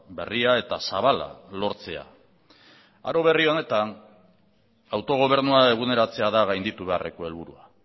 berria eta zabala lortzea aro berri honetan autogobernua eguneratzea da gainditu beharreko helburua